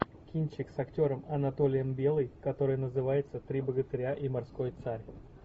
кинчик с актером анатолием белый который называется три богатыря и морской царь